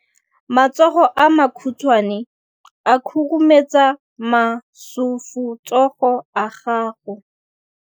Matsogo a makhutshwane a khurumetsa masufutsogo a gago.